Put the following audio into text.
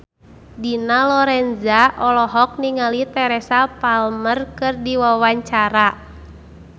Dina Lorenza olohok ningali Teresa Palmer keur diwawancara